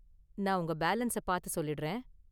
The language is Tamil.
நான் உங்க பேலன்ஸ பார்த்து சொல்லிடுறேன்.